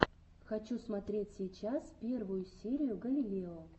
хочу смотреть сейчас первую серию галилео